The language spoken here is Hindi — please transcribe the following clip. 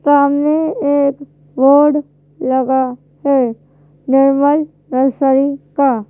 सामने एक बोर्ड लगा है निर्मल नर्सरी का।